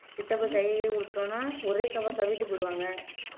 கிட்டப்ப கைய கிய குடுத்துட்டோம்ன்னா ஒரே கவ்வா கவிட்டு போயிடுவாங்க